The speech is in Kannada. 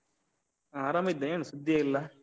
ಹಾ ಆರಾಮಿದ್ದೆ. ಏನ್ ಸುದ್ದಿಯೇ ಇಲ್ಲ?